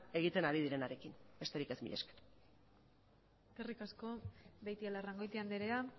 egiten ari direnarekin besterik ez mila esker eskerrik asko beitialarrangoitia andrea